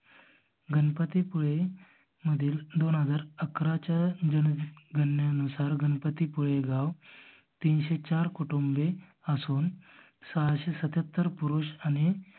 गणपती पुळे मधील दोन हजार अकराच्या जनगनने नुसार गणपती पुळे गाव तीनशे चार कुटुंबे असून सहाशे सत्त्याहत्तर पुरुष आणि